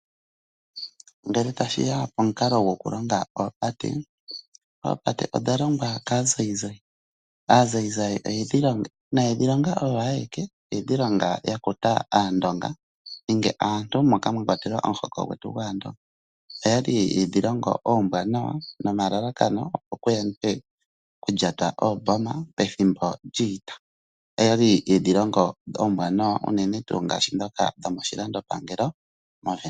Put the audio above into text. Ngele tashi ya pomukalo gokulonga oopate, oopate odha longwa kaazayizayi. Aazayizayi oyedhi longa, inaye dhi longa oyo ayeke, oyedhi longa ya kuta Aandonga nenge aantu moka mwa kwatelwa omuhoko gwetu gwAandonga. Oya li ye dhi longo oombwaanawa nomalalakano, opo ku yandwe okulyata oomboma pethimbo lyiita. Oya li yedhi longo oombwaanawa unene tuu ndhoka dhomoshilandopangelo mOvenduka.